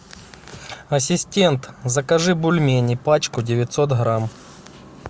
ассистент закажи бульмени пачку девятьсот грамм